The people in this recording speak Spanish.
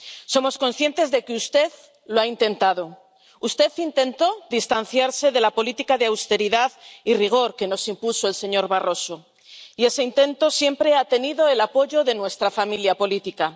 Somos conscientes de que usted lo ha intentado, usted intentó distanciarse de la política de austeridad y rigor que nos impuso el señor Barroso, y ese intento siempre ha tenido el apoyo de nuestra familia política.